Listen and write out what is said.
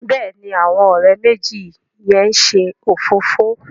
Béèni àwọn òré méjì yén ṣe òfófó.